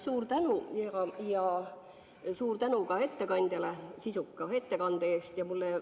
Suur tänu ja suur tänu ka ettekandjale sisuka ettekande eest!